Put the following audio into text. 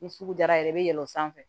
Ni sugu jara yɛrɛ bɛ yɛlɛn o sanfɛ